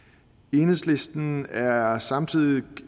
enhedslisten er er samtidig